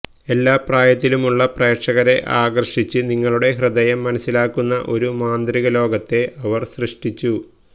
എല്ലാ പ്രായത്തിലുമുള്ള പ്രേക്ഷകരെ ആകർഷിച്ച് നിങ്ങളുടെ ഹൃദയം മനസിലാക്കുന്ന ഒരു മാന്ത്രിക ലോകത്തെ അവർ സൃഷ്ടിച്ചു